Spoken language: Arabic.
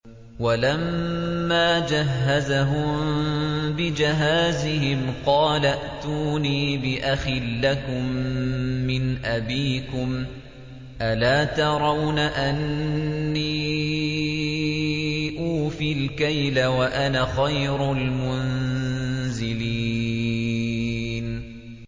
وَلَمَّا جَهَّزَهُم بِجَهَازِهِمْ قَالَ ائْتُونِي بِأَخٍ لَّكُم مِّنْ أَبِيكُمْ ۚ أَلَا تَرَوْنَ أَنِّي أُوفِي الْكَيْلَ وَأَنَا خَيْرُ الْمُنزِلِينَ